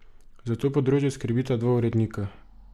Za to področje skrbita dva urednika.